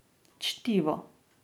Čtivo.